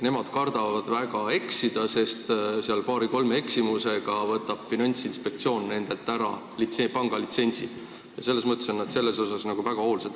Nemad kardavad väga eksida, sest paari-kolme eksimusega võtab Finantsinspektsioon nendelt ära pangalitsentsi ja selles mõttes on nad väga hoolsad.